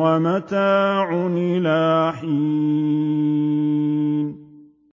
وَمَتَاعٌ إِلَىٰ حِينٍ